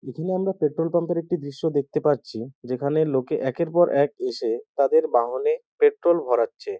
এখানে আমরা petrol pump এর একটি দৃশ্য দেখতে পাচ্ছি যেখানে লোকে একের পর এক এসে তাদের বাহনে পেট্রোল ভরাচ্ছে।